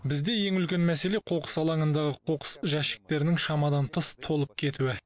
бізде ең үлкен мәселе қоқыс алаңындағы қоқыс жәшіктерінің шамадан тыс толып кетуі